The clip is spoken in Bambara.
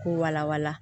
K'u wala wala